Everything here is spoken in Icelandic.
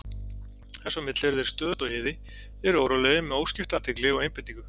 Þess á milli eru þeir á stöðugu iði, eru órólegir með óskipta athygli og einbeitingu.